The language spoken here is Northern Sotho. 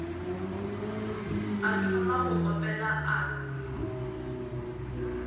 a thoma go opela a